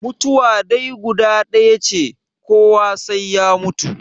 Mutuwa dai guda ɗaya ce, kowa sai ya mutu.